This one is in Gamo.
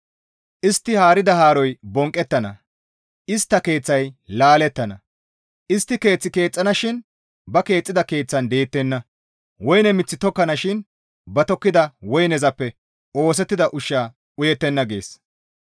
Istti haarida haaroy bonqqettana; istta keeththay laalettana; istti keeth keexxanashin ba keexxida keeththan deettenna; woyne mith tokkanashin ba tokkida woynezappe oosettida ushshaa uyettenna» gees.